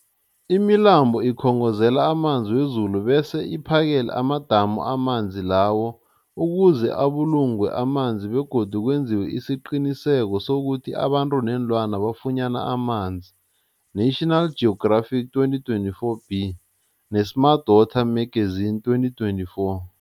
Imilambo ikhongozela amanzi wezulu bese iphakele amadamu amanzi lawo ukuze abulungwe amanzi begodu kwenziwe isiqiniseko sokuthi abantu neenlwana bafunyana amanzi, National Geographic 2024b, ne-Smart Water Magazine 2024.